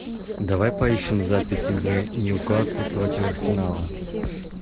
давай поищем запись игры ньюкасл против арсенала